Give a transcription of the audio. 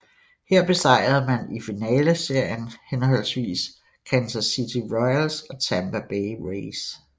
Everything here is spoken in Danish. Her besejrede man i finaleserien hhv Kansas City Royals og Tampa Bay Rays